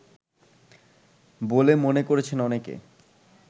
বলে মনে করছেন অনেকে